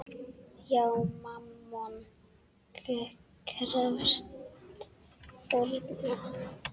Já, Mammon krefst fórna.